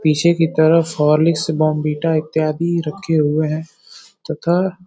पीछे की तरफ हॉर्लिक्स बोर्नवीटा इत्यादि रखे हुए है तथा --